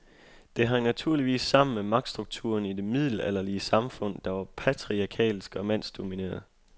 Det hang naturligvis sammen med magtstrukturen i det middelalderlige samfund, der var patriarkalsk og mandsdomineret.